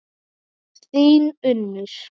Þín Unnur.